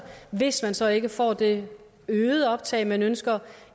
hvis man så ikke får det øgede optag man ønsker